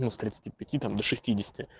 ну с тридцати пяти там до шестидесяти